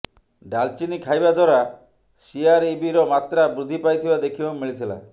ଡାଲଚିନି ଖାଇବା ଦ୍ୱାରା ସିଆରଇବିର ମାତ୍ରା ବୃଦ୍ଧି ପାଇଥିବା ଦେଖିବାକୁ ମିଳିଥିଲା